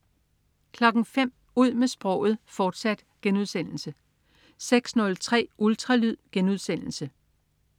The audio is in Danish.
05.00 Ud med sproget, fortsat* 06.03 Ultralyd*